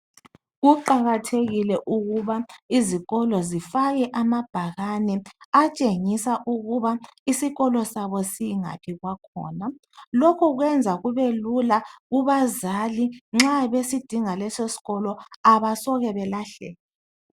Kuqakathekile ukuba izikolo zifake amabhakani atshengisa ukuba isikolo sabo singaphi kwakhona. Lokho kwenza kubelula kubazali nxa besidinga leso sikolo. Abasoke belahleke.